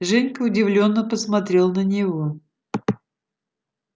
женька удивлённо посмотрел на него